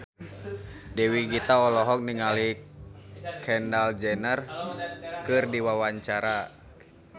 Dewi Gita olohok ningali Kendall Jenner keur diwawancara